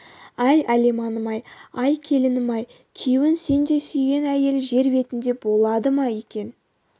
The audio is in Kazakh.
ай алиманым-ай ай келінім-ай күйеуін сендей сүйген әйел жер бетінде болды ма екен